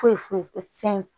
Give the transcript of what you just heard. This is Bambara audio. Foyi foyi foyi